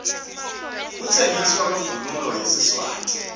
kutsengiswa kwemvunulo yesiswati